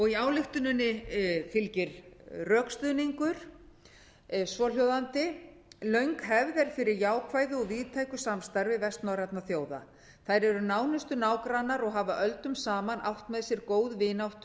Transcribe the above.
í ályktuninni fylgir rökstuðningur svohljóðandi löng hefð er fyrir jákvæðu og víðtæku samstarfi vestnorrænna þjóða þær eru nánustu nágrannar og hafa öldum saman átt með sér góð vináttu